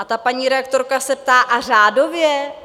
A ta paní redaktorka se ptá: A řádově?